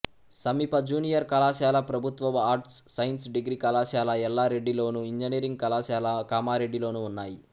సమీప జూనియర్ కళాశాల ప్రభుత్వ ఆర్ట్స్ సైన్స్ డిగ్రీ కళాశాల ఎల్లారెడ్డిలోను ఇంజనీరింగ్ కళాశాల కామారెడ్డిలోనూ ఉన్నాయి